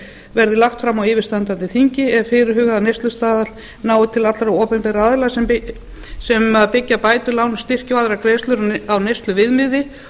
verði lagt fram á yfirstandandi þingi eða fyrirhugaður neyslustaðall nái til allra opinberra aðila sem byggja bætur lán og styrki og aðrar greiðslur á neysluviðmiði